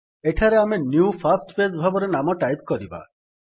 ଆମେ ଏଠାରେ new first page ଭାବରେ ନାମ ଟାଇପ୍ କରିବା